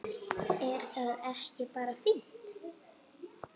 Er það ekki bara fínt?